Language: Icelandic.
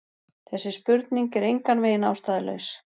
Þessi spurning er engan veginn ástæðulaus.